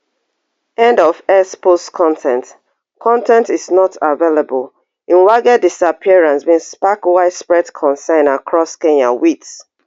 end of x post con ten t con ten t is not available mwangi disappearance bin spark widespread concern across kenya wit